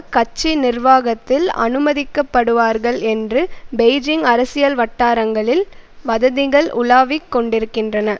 கட்சி நிர்வாகத்தில் அனுமதிக்கப்படுவார்கள் என்று பெய்ஜிங் அரசியல் வட்டாரங்களில் வதந்திகள் உலாவிக் கொண்டிருக்கின்றன